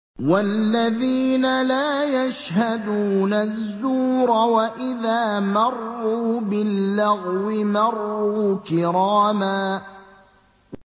وَالَّذِينَ لَا يَشْهَدُونَ الزُّورَ وَإِذَا مَرُّوا بِاللَّغْوِ مَرُّوا كِرَامًا